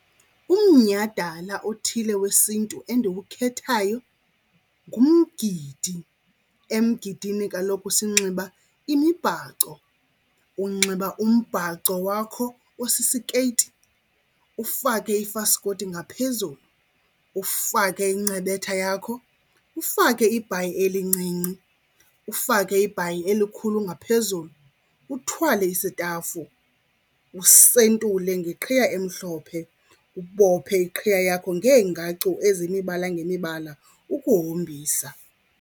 Umnyhadala othile wesiNtu endiwukhethayo ngumgidi. Emgidini kaloku sinxiba imibhaco. Unxiba umbhaco wakho osisikeyiti, ufake ifaskoti ngaphezulu, ufake incebetha yakho, ufake ibhayi elincinci, ufake ibhayi elikhulu ngaphezulu, uthwale isitafu, usentule ngeqhiya emhlophe. Ubophe iqhiya yakho ngeengacu eziyimibala ngemibala ukuhombisa.